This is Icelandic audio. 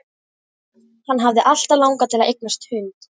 Hann hafði alltaf langað til að eignast hund.